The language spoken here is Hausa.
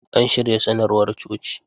An shirya sanarwar coci.